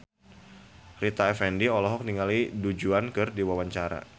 Rita Effendy olohok ningali Du Juan keur diwawancara